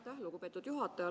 Aitäh, lugupeetud juhataja!